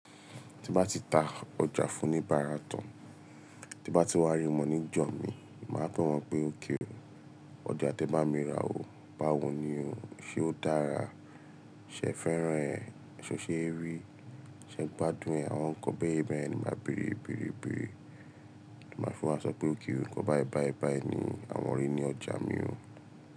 Tí bá ti ta ọjà fún ní bara tán, tí bá ti wá rí mọ ní jọ̀mi, màá fún wọn pé ókè o, ọjà tí ẹ bá mi rà o, báwo ni o, ṣe ó dára? Ṣe ẹ fẹ́ràn ẹ́, ṣé o ṣe ẹ rí? Ṣe ẹ gbádùn ẹ́, àwọn nǹkan bẹ́ẹ̀yen bẹ́ẹ̀yen ni màá bèèrè bèèrè bèèrè. Màá tún wa sọ pé okay o, nǹkan bái bái bái ni àwọn rí ní ọjà mi o.